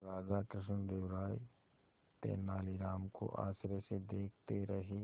राजा कृष्णदेव राय तेनालीराम को आश्चर्य से देखते रहे